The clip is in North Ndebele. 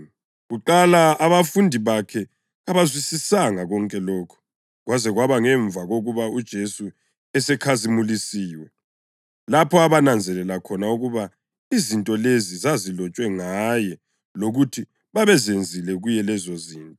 Kuqala abafundi bakhe kabakuzwisisanga konke lokhu. Kwaze kwaba ngemva kokuba uJesu esekhazimulisiwe lapho abananzelela khona ukuba izinto lezi zazilotshwe ngaye lokuthi babezenzile kuye lezozinto.